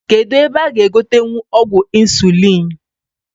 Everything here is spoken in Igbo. Kedu ebe a g'egotenwu ọgwụ insuliin?